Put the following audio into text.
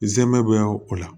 Zɛmɛ bɛ o la